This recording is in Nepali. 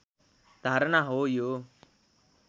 धारणा हो यो